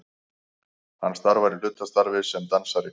Hann starfar í hlutastarfi sem dansari